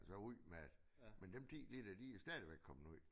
Så ud med det. Men dem 10 liter de er stadigvæk kommet ud